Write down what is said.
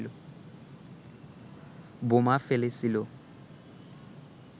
বোমা ফেলেছিল